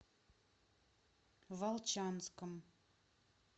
волчанском